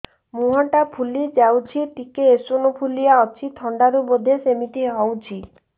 ମୁହଁ ଟା ଫୁଲି ଯାଉଛି ଟିକେ ଏଓସିନୋଫିଲିଆ ଅଛି ଥଣ୍ଡା ରୁ ବଧେ ସିମିତି ହଉଚି